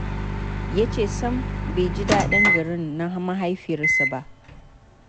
Ya ce sam bai ji daɗin garin na mahaifiyarsa ba